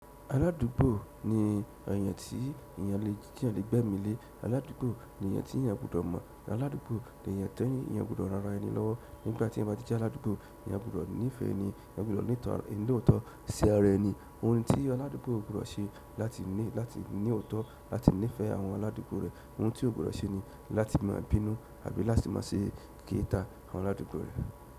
Aládùúgbò ni èèyàn tí èèyàn le gbé ẹ̀mí lé. Aládùúgbò ni èèyàn tí èèyàn gbudọ̀ mọ̀. Aládùúgbò ni èèyàn tí èèyàn gbudọ̀ ràn ara ẹni lọ́wọ́. Nígbà tí èyàn bá ti jẹ́ aládùúgbò, èyàn gbudọ̀ nífẹ̀ẹ́ ẹni, èèyàn gbudọ̀ ní ìtọ́, ní òótọ́, sí ara ẹni. Ohun tí aládùúgbò gbudọ̀ ṣe láti ní, láti ní òótọ́, láti nífẹ̀ẹ́ àwọn aládùúgbò rẹ̀. Ohun tí ò gbọ́dọ̀ ṣe ni láti máa bínú àbí láti máa ṣe kèéta àwọn aládùúgbò rẹ̀.